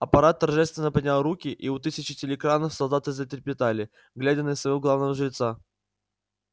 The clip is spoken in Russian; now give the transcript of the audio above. апорат торжественно поднял руки и у тысяч телеэкранов солдаты затрепетали глядя на своего главного жреца